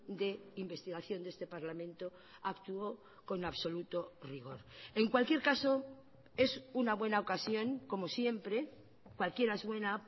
de investigación de este parlamento actuó con absoluto rigor en cualquier caso es una buena ocasión como siempre cualquiera es buena